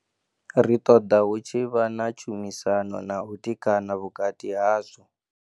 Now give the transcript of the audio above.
Ri ṱoḓa hu tshi vha na tshumisano na u tikana vhukati hazwo.